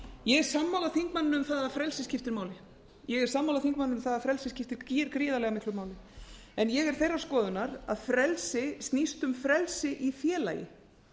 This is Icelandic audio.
ég er sammála þingmanninum um það að frelsi skiptir máli ég er sammála þingmanninum um það að frelsið skiptir gríðarlega miklu máli en ég er þeirrar skoðunar að frelsi snúist um frelsi í félagi